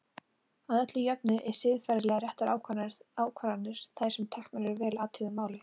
Að öllu jöfnu eru siðferðilega réttar ákvarðanir þær sem teknar eru að vel athuguðu máli.